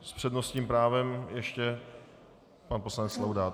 S přednostním právem ještě pan poslanec Laudát.